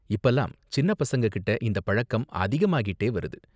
இப்பலாம் சின்ன பசங்ககிட்ட இந்த பழக்கம் அதிகமாகிட்டே வருது.